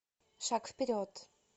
шаг вперед